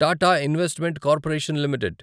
Tata investment corporation limited